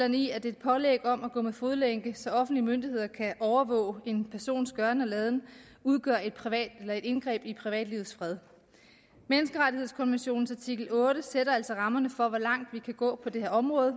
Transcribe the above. i at et pålæg om at gå med fodlænke så offentlige myndigheder kan overvåge en persons gøren og laden udgør et indgreb i privatlivets fred menneskerettighedskonventionens artikel otte sætter altså rammerne for hvor langt vi kan gå på det her område